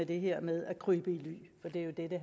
det her med at krybe i ly for det er jo det det